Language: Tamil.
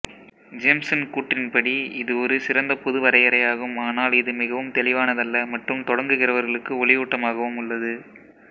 ஜேம்ஸ்ன் கூற்றின்படி இது ஒரு சிறந்த பொது வரையறையாகும் ஆனால் இது மிகவும் தெளிவானதல்ல மற்றும் தொடங்குகிறவர்களுக்கு ஒளியூட்டமாகவும் உள்ளது